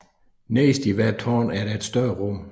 Nederst i hvert tårn er der et større rum